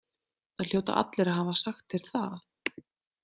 Það hljóta allir að hafa sagt þér það.